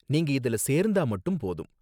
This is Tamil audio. நீங்க இதுல சேர்ந்தா மட்டும் போதும்